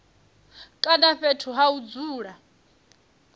kana fhethu ha u dzula